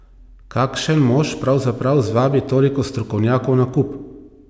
Kakšen mož pravzaprav zvabi toliko strokovnjakov na kup?